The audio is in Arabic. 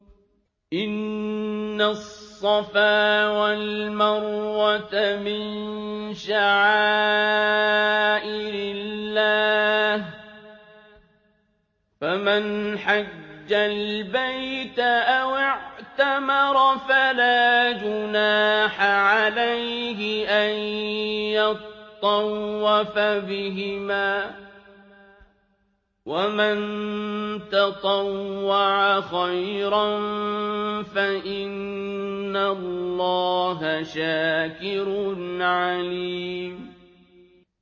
۞ إِنَّ الصَّفَا وَالْمَرْوَةَ مِن شَعَائِرِ اللَّهِ ۖ فَمَنْ حَجَّ الْبَيْتَ أَوِ اعْتَمَرَ فَلَا جُنَاحَ عَلَيْهِ أَن يَطَّوَّفَ بِهِمَا ۚ وَمَن تَطَوَّعَ خَيْرًا فَإِنَّ اللَّهَ شَاكِرٌ عَلِيمٌ